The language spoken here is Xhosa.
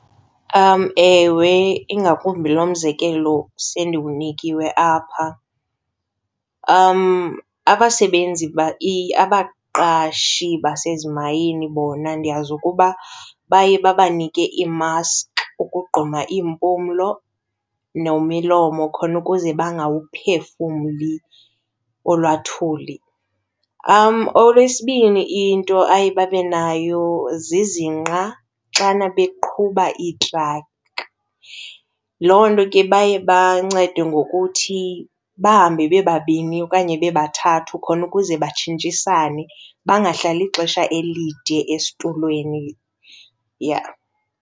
Ewe, ingakumbi lo mzekelo sendiwunikiwe apha. Abasebenzi abaqashi basezimayini bona ndiyazi ukuba baye babanike iimaski ukugquma iimpumlo nemilomo khona ukuze bangawuphefumli olwaa uthuli. Okwesibini into aye babe nayo zizinqa xana beqhuba iitraki. Loo nto ke baye bancedwe ngokuthi bahambe bebabini okanye bebathathu khona ukuze batshintshisane, bangahlali ixesha elide esitulweni, yeah.